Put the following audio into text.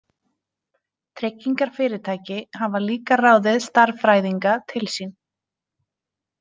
Tryggingarfyrirtæki hafa líka ráðið stærðfræðinga til sín.